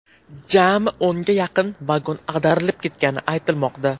Jami o‘nga yaqin vagon ag‘darilib ketgani aytilmoqda.